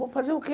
Vou fazer o quê?